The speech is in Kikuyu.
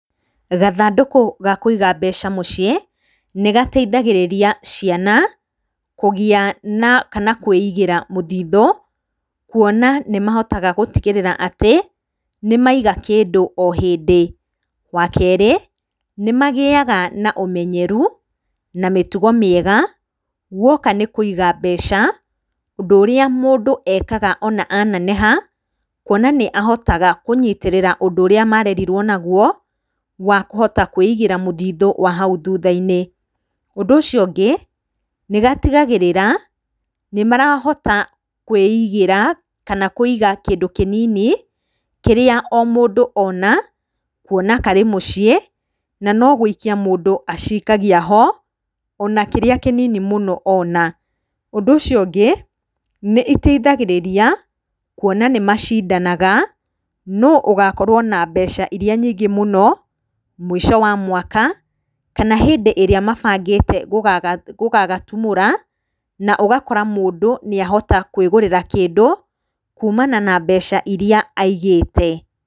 Gathandũkũ ga kũiga mbeca mũciĩ, nĩ gateithagĩrĩria ciana kũgĩa na, kana kwĩigĩra mũthithũ, kũona nĩ mahotaga gũtigĩrĩra atĩ nĩ maiga kĩndũ o hĩndĩ. Wa kerĩ, nĩ magĩaga na ũmenyeru na mĩtugo mĩega gũoka nĩ kũiga mbeca. Ũndũ ũrĩa mũndũ ekaga ona a neneha, kũona nĩ ahotaga kũnyitĩrĩra ũndũ ũrĩa marerirwo naguo wa kũhota kweigĩra mũthithũ wa nahau thutha-inĩ. Ũndũ ũcio ũngĩ, nĩ gatigagĩrĩra nĩ marahota kwĩigĩra, kana kũiga kĩndũ kĩnini kĩrĩa o mũndũ ona, kuona karĩ mũciĩ na no gũikia mũndũ acikagia ho, ona kĩrĩa kĩnini mũno ona. Ũndũ ũcio ũngĩ nĩ iteithagĩrĩria, kuona nĩ macindanaga nũũ ũgakorwo na mbeca irĩa nyingĩ mũno mũico wa mwaka, kana hĩndĩ ĩrĩa mabangĩte gũgagatumũra, na ũgakora mũndũ nĩ ahota kwĩgũrĩra kĩndũ kumana na mbeca irĩa aigĩte.